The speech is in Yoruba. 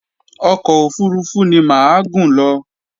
Ọkọ̀ òfurufú ni mà á gùn lọ